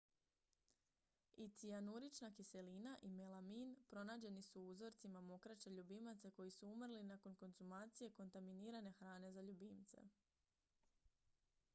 i cijanurična kiselina i melamin pronađeni su u uzorcima mokraće ljubimaca koji su umrli nakon konzumacije kontaminirane hrane za ljubimce